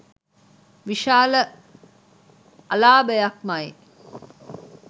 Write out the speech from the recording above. විශාල අලාභයක්මයි.